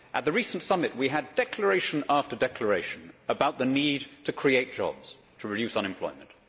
At the recent summit we had declaration after declaration about the need to create jobs, to reduce unemployment.